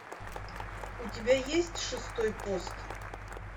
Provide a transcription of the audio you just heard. у тебя есть шестой пост